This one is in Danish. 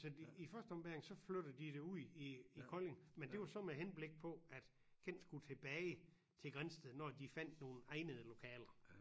Så i første ombæring så flyttede de det ud i i Kolding men det jo så med henblik på at Kent skulle tilbage til Grindsted når de fandt nogle egnede lokaler